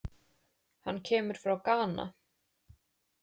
Hann kemur frá Gana.